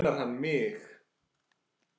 Grunar hann mig?